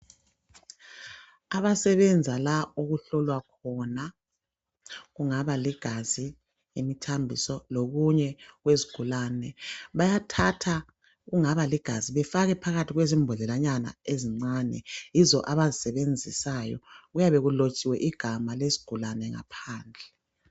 Abasebenza la okuhlolwa khona kungaba ligazi, imthambiso lokunye okwezigulayo bayathatha kungaba ligazi befake phakathi kwembondlelanyana ezincane. Yizo abazisebenzisayo kuyabe kulotshiwe igama lesigulane ngaphandle